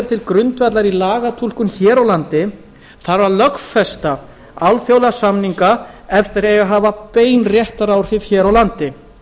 er til grundvallar í lagatúlkun hér á landi þarf að lögfesta alþjóðlega samninga ef þeir eiga að hafa bein réttaráhrif hér á landi